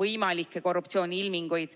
võimalikke korruptsiooniilminguid.